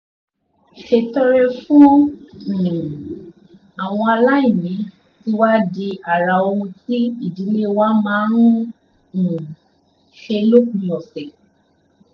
ṣètọrẹ fún um àwọn aláìní ti wá di ara ohun tí ìdílé wa máa ń um ṣe lópin ọ̀sẹ̀